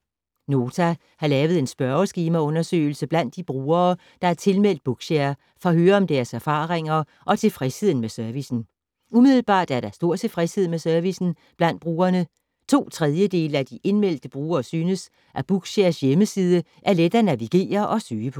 Nota har lavet en spørgeskemaundersøgelse blandt de brugere, der er tilmeldt Bookshare for at høre om deres erfaringer og tilfredsheden med servicen. Umiddelbart er der stor tilfredshed med servicen blandt brugerne. To tredjedele af de indmeldte brugere synes, at Bookshares hjemmeside er let at navigere og søge på.